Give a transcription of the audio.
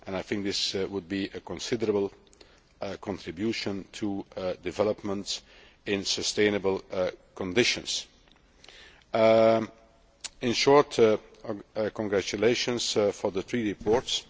I think this would be a considerable contribution to development in sustainable conditions. In short, congratulations for the three reports.